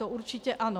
To určitě ano.